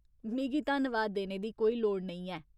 मिगी धन्नवाद देने दी कोई लोड़ नेईं ऐ।